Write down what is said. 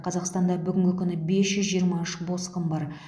қазақстанда бүгінгі күні бес жүз жиырма үш босқын бар